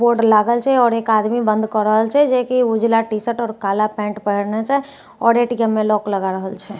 Board लागल छे आओर एक आदमी बंद कए रहल छे जे की उजला टी-शर्ट आओर काला पेंट पहेरने छै आओर ए_टी_एम में लॉक लगा रहल छै।